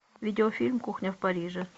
видеофильм кухня в париже